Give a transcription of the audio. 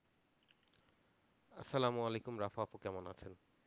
সালাম ওয়ালাইকুম রাফা আপু, কেমন আছেন?